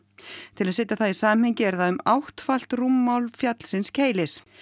til að setja það í samhengi er það um áttfalt rúmmál fjallsins Keilis